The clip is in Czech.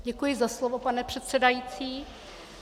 Děkuji za slovo, pane předsedající.